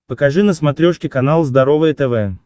покажи на смотрешке канал здоровое тв